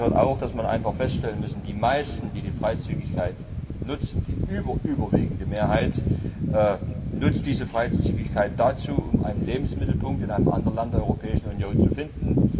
Dazu gehört auch, dass man einfach feststellen muss Die meisten, die die Freizügigkeit nutzen, die überüberwiegende Mehrheit nutzt diese Freizügigkeit dazu, um einen Lebensmittelpunkt in einem anderen Land der Europäischen Union zu finden.